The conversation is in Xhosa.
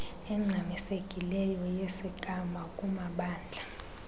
engxamisekileyo yesigama kumamndla